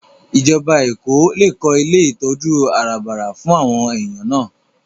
Ìjọba Èkó lè kó ilé ìtọ́jú àràbarà fún àwọn èèyàn náà